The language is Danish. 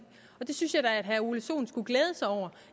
og det synes jeg da at herre ole sohn skulle glæde sig over